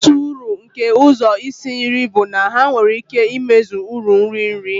Otu uru nke ụzọ isi nri bụ na ha nwere ike imezi uru nri nri.